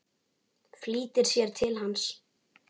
Flýtir sér til hans.